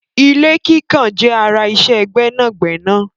Ilé kíkàn jẹ́ ara iṣẹ́ gbẹ́nàgbẹnà.